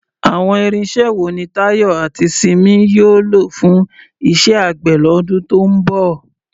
Àwọn irinṣẹ́ wo ni Tayo àti Simi yóò lò fún iṣẹ́ àgbẹ̀ lọ́dún tó ń bọ̀?